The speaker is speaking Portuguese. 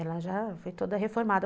foi toda reformada.